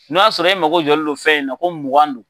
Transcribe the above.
N'o y'a sɔrɔ e mago jɔlen don fɛn in na ko mugan don.